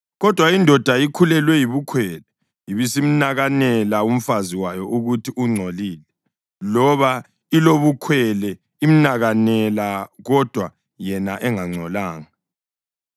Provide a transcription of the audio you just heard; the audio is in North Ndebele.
kodwa indoda ikhulelwe yibukhwele ibisimnakanela umfazi wayo ukuthi ungcolile, loba ilobukhwele imnakanela kodwa yena engangcolanga,